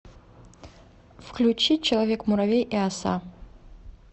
включи человек муравей и оса